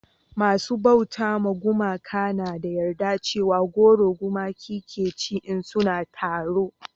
masu bauta ma gumaka na da yarda cewa goro gumakai ke ci in suna taro